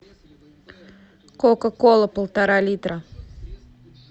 кока кола полтора литра